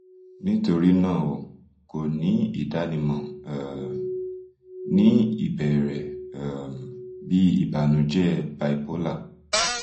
nitorina o ko ni idanimọ um ni ibẹrẹ um bi ibanujẹ bipolar